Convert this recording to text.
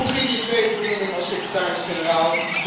Hoe ging de tweede benoeming als secretaris generaal?